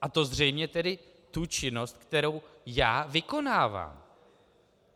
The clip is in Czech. A to zřejmě tedy tu činnost, kterou já vykonávám.